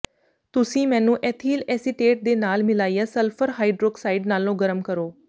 ਤੁਸੀਂ ਮੈਨੂੰ ethyl acetate ਦੇ ਨਾਲ ਮਿਲਾਇਆ ਸਲਫਰ ਹਾਈਡ੍ਰੋਕਸਾਈਡ ਨਾਲੋਂ ਗਰਮ ਕਰੋ